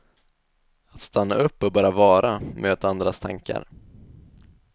Att stanna upp och bara vara, möta andras tankar.